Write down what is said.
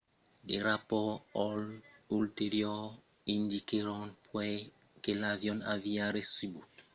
de rapòrts ulteriors indiquèron puèi que l'avion aviá recebut una alèrta a la bomba e foguèt desviat enrè cap a afganistan aterrant a kandahar